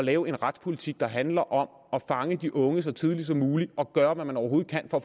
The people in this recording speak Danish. at lave en retspolitik der handler om at fange de unge så tidligt som muligt og gøre hvad man overhovedet kan for